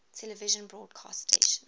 television broadcast stations